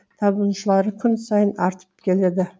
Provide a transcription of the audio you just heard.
табынушылары күн сайын артып келеді